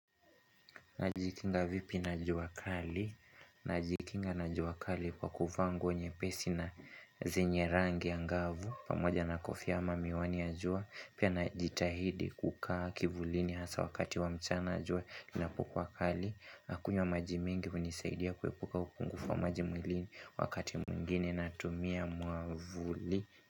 Najikinga vipi na jua kali? Najikinga na jua kali kwa kuvaa nguo nyepesi na zenye rangi angavu, pamoja na kofia ama miwani ya jua, pia na jitahidi kukaa kivulini hasaa wakati wa mchana jua inapo kuwa kali, nakunywa maji mengi kunisaidia kuepuka upungufu wa maji mwilini wakati mwingine na tumia mwavuli.